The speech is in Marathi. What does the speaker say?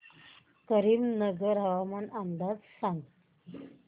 करीमनगर हवामान अंदाज सांग